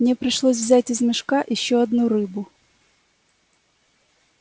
мне пришлось взять из мешка ещё одну рыбу